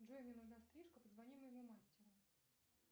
джой мне нужна стрижка позвони моему мастеру